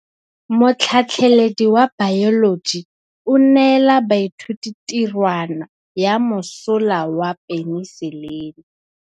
Motlhatlhaledi wa baeloji o neela baithuti tirwana ya mosola wa peniselene.